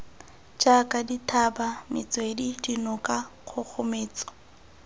jaaka dithaba metswedi dinoka kgogometso